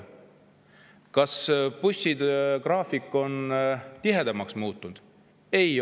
Kas bussigraafik on tihedamaks muutunud?